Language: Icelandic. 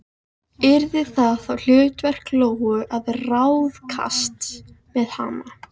Yrði það þá hlutverk Lóu að ráðskast með hana?